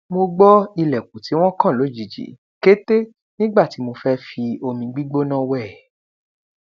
mo gbọ ilẹkùn tí wọn kàn lójijì kété nígbà tí mo fẹ fi omi gbígbóná wẹ